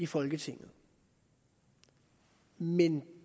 folketinget men